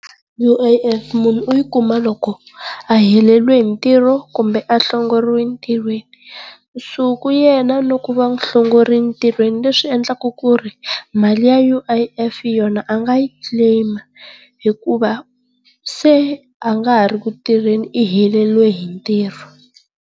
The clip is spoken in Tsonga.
U_I_F munhu u yi kuma loko a heleriwe hi mitirho kumbe a hlongoriwile entirhweni. Nsuku yena loko va n'wi hlongorile ntirhweni leswi endelaka ku ri mali ya U_I_F yona a nga yi claim hikuva se a nga ha ri kutirheni u heleriwe hi ntirho.